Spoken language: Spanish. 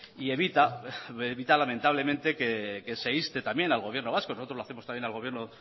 y evita lamentablemente que se inste también al gobierno vasco nosotros lo hacemos también al gobierno